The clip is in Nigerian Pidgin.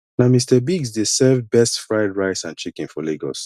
na mr biggs dey serve best fried rice and chicken for lagos